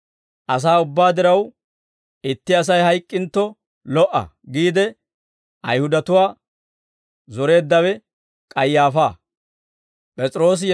«Asaa ubbaa diraw, itti Asay hayk'k'intto lo"a» giide Ayihudatuwaa zoreeddawe K'ayaafaa.